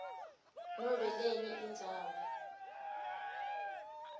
nobe lenye indzawo